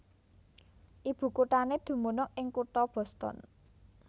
Ibukuthané dumunung ing kutha Boston